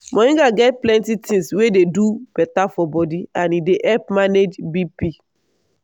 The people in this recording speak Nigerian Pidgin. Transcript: moringa get plenty things wey dey do beta for body and e dey help manage bp.